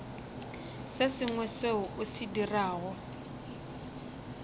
sengwe seo o se dirago